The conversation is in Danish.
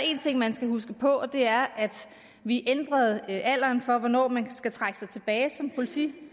en ting man skal huske på og det er at vi ændrede alderen for hvornår man skal trække sig tilbage som politimand